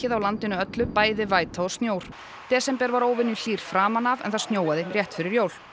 á landinu öllu bæði væta og snjór desember var framan af en það snjóaði rétt fyrir jól